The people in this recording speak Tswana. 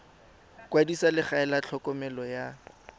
kwadisa legae la tlhokomelo ya